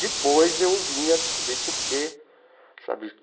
Depois eu vim a descobrir por que sabe.